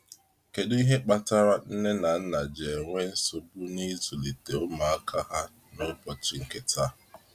Kedụ ihe kpatara nne na nna ji enwe nsogbu na ịzulite ụmụaka ha na ụbọchị nke taa?